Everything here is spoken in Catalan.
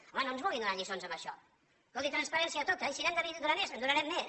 home no ens vulguin donar lliçons en això escolti transparència tota i si n’hem de donar més en donarem més